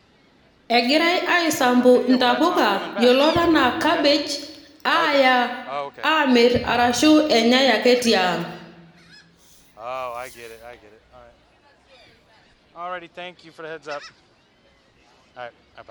Egirae aisampu ntapuka yiolot anaa cabbage aya amir arashu enyai ake tiang.